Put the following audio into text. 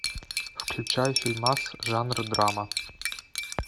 включай фильмас жанра драма